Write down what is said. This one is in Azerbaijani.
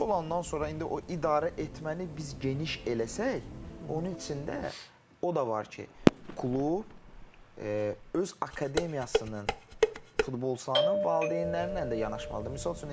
Bu üçü olandan sonra indi o idarə etməni biz geniş eləsək, onun içində o da var ki, klub öz akademiyasının futbolçularının valideynləri ilə də yanaşmalıdır.